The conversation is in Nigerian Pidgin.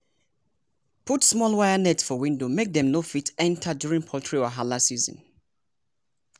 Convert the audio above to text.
put small wire net for window make dem no fit enter during poultry wahala season.